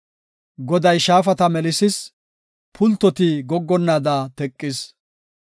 Goday shaafata melisis; pultoti goggonnaada teqis.